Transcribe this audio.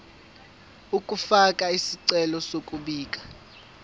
ukufaka isicelo sokubika